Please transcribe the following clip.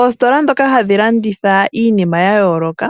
Oositola ndhoka hadhi landitha iinima ya yooloka